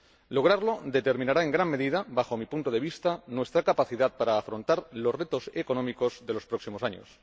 Lograrlo determinará en gran medida, bajo mi punto de vista, nuestra capacidad para afrontar los retos económicos de los próximos años.